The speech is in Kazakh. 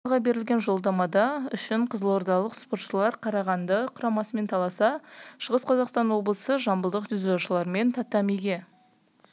дзюдодан финалға берілер жоладама үшін қызылордалық спортшылар қарағанды құрамасымен таласса шығыс қазақстан облысы жамбылдық дзюдошылармен татамиге